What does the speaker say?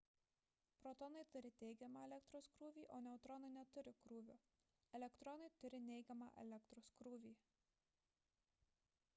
protonai turi teigiamą elektros krūvį o neutronai neturi krūvio elektronai turi neigiamą elektros krūvį